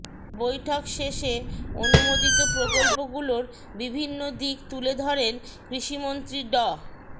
বৈঠক শেষে অনুমোদিত প্রকল্পগুলোর বিভিন্ন দিক তুলে ধরেন কৃষিমন্ত্রী ড